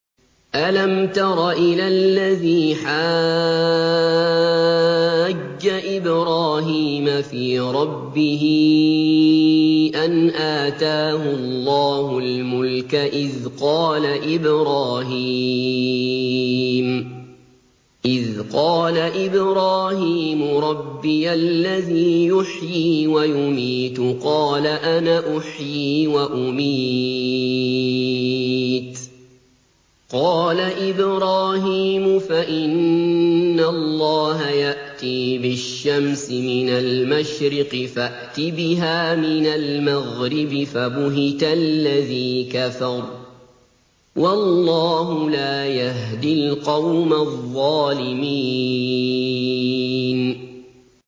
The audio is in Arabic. أَلَمْ تَرَ إِلَى الَّذِي حَاجَّ إِبْرَاهِيمَ فِي رَبِّهِ أَنْ آتَاهُ اللَّهُ الْمُلْكَ إِذْ قَالَ إِبْرَاهِيمُ رَبِّيَ الَّذِي يُحْيِي وَيُمِيتُ قَالَ أَنَا أُحْيِي وَأُمِيتُ ۖ قَالَ إِبْرَاهِيمُ فَإِنَّ اللَّهَ يَأْتِي بِالشَّمْسِ مِنَ الْمَشْرِقِ فَأْتِ بِهَا مِنَ الْمَغْرِبِ فَبُهِتَ الَّذِي كَفَرَ ۗ وَاللَّهُ لَا يَهْدِي الْقَوْمَ الظَّالِمِينَ